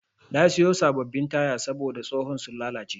Na siya sabbabin taya sabida tsohon sun lallace.